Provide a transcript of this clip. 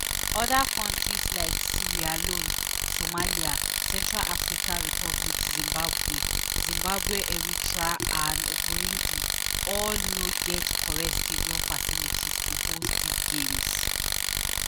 oda kontris like sierra leone somalia central africa republic zimbabwe zimbabwe eritrea and burundi all no get correct stadium facilities to host dis games.